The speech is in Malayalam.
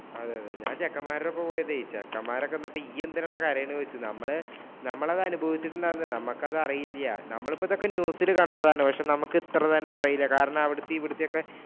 അതെയതെ ഞാൻ ചെക്കന്മാരുടെ ഒപ്പമാ പോയതേ. ചെക്കന്മാരൊക്കെ വന്നിട്ട് ഇയ്യ് എന്തിനെടാ കരയുന്നേ എന്ന് ചോദിച്ചു. ഞമ്മള് അത് അനുഭവിച്ചിട്ടുണ്ടാവില്ല. നമ്മക്കത് അറിയില്ല. നമ്മള് ഒക്കെ ഇപ്പം അത് news ഇൽ കണ്ടതാണ്. പക്ഷേ നമ്മക്ക് ഇത്ര തന്നെ അറിയില്ല. കാരണം, അവിടത്തെ ഇവിടത്തെയൊക്കെ